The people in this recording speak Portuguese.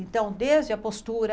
Então, desde a postura...